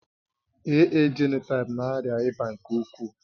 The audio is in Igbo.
AA jenotaịpu na-arịa ịba nke ukwuu